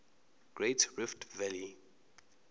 great rift valley